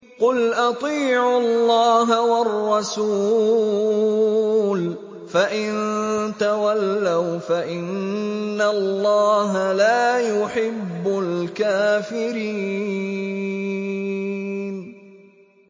قُلْ أَطِيعُوا اللَّهَ وَالرَّسُولَ ۖ فَإِن تَوَلَّوْا فَإِنَّ اللَّهَ لَا يُحِبُّ الْكَافِرِينَ